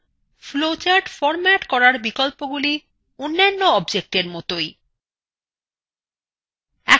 flowcharts format করার বিকল্পগুলি অন্যান্য objectsএর মতই